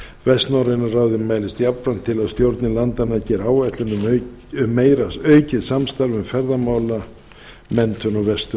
vestnorræna ráðið mælist jafnframt til að stjórnir landanna geri áætlun um aukið samstarf um ferðamálamenntun á vestur